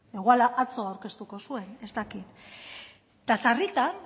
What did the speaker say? igual atzo aurkeztuko zuen ez dakit eta sarritan